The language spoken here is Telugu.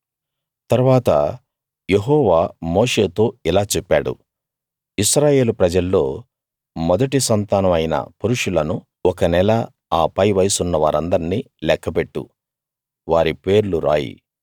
తరువాత యెహోవా మోషేతో ఇలా చెప్పాడు ఇశ్రాయేలు ప్రజల్లో మొదటి సంతానం అయిన పురుషులను ఒక నెల ఆ పై వయసున్న వారిందర్నీ లెక్క పెట్టు వారి పేర్లు రాయి